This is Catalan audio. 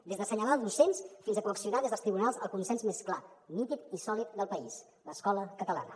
des d’assenyalar docents fins a coaccionar des dels tribunals el consens més clar nítid i sòlid del país l’escola catalana